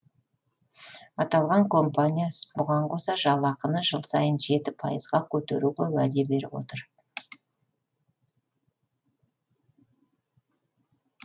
аталған компания бұған қоса жалақыны жыл сайын жеті пайызға көтеруге уәде беріп отыр